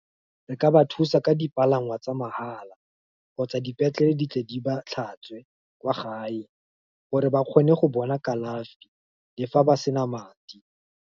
Re ka ba thusa ka dipalangwa tsa mahala, kgotsa dipetlele di tle di ba tlhatswe, kwa gae, gore ba kgone go bona kalafi, le fa ba sena madi.